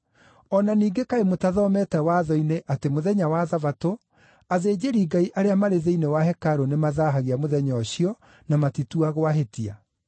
O na ningĩ kaĩ mũthomete Watho-inĩ atĩ mũthenya wa Thabatũ, athĩnjĩri-Ngai arĩa marĩ thĩinĩ wa hekarũ nĩmathaahagia mũthenya ũcio na matituagwo ahĩtia?